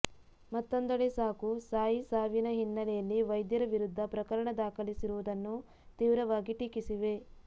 ಮತ್ತೊಂದೆಡೆ ಸಾಕು ಸಾಯಿ ಸಾವಿನ ಹಿನ್ನೆಲೆಯಲ್ಲಿ ವೈದ್ಯರ ವಿರುದ್ಧ ಪ್ರಕರಣ ದಾಖಲಿಸಿರುವುದನ್ನು ತೀವ್ರವಾಗಿ ಟೀಕಿಸಿವೆ